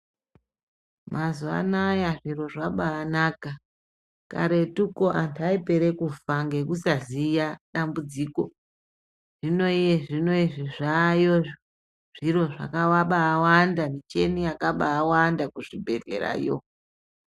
Mazuwa anaya zviro zvabanaka kwete karetuko antu aipere kufangekusaziya dambudziko hino zvino izvi zvayo zviro zvakabawanda micheni akabawanda kuzvibhehlerayo.